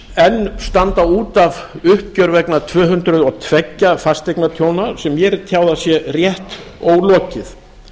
enn standa út af uppgjör vegna tvö hundruð og tveir fasteignatjóna sem mér er tjáð að sé rétt ólokið